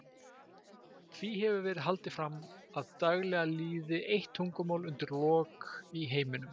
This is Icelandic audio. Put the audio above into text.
Því hefur verið haldið fram að daglega líði eitt tungumál undir lok í heiminum.